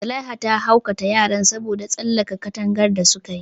Zulaiha ta hukunta yaran saboda tsallake katangar da su kayi.